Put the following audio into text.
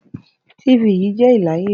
tv je l'ayle